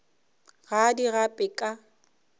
ga a di gape ka